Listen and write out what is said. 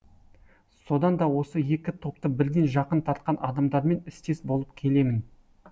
содан да осы екі топты бірден жақын тартқан адамдармен істес болып келемін